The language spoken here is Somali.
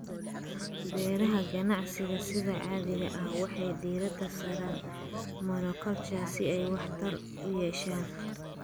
Beeraha ganacsiga sida caadiga ah waxay diiradda saaraan monoculture si ay waxtar u yeeshaan.